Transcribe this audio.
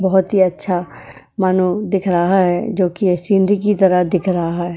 बहोत ही अच्छा मानो दिख रहा है जोकि ये सीनरी की तरह दिख रहा है।